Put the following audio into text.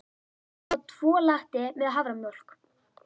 Ég ætla að fá tvo latte með haframjólk.